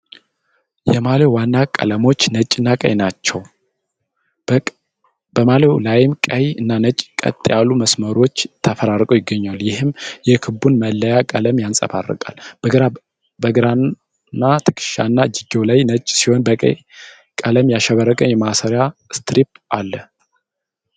የማልያው ዋና ቀለሞች ነጭና ቀይ ናቸው። በማልያው ላይ ቀይ እና ነጭ ቀጥ ያሉ መስመሮች ተፈራርቀው ይገኛሉ፣ ይህም የክለቡን መለያ ቀለም ያንጸባርቃል። በግራ ትከሻና እጅጌው ላይ ነጭ ሲሆን በቀይ ቀለም ያሸበረቀ የማሰሪያ ስትሪፕ አለ።